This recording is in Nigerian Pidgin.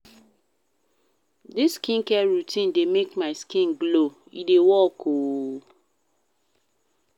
Dis skincare routine dey make my skin glow, e dey work o.